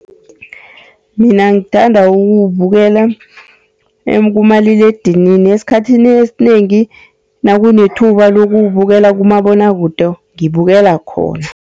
Mina ngithanda ukuwubukela kumaliledinini, esikhathini esinengi nakunethuba lokuwubukela kumabonwakude ngibukela khona.